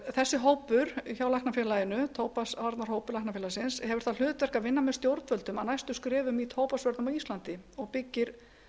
þessi hópur hjá læknafélaginu tóbaksvarnahópi læknafélagsins hefur það hlutverk að vinna með stjórnvöldum að næstu skrefum í tóbaksvörnum á íslandi og byggir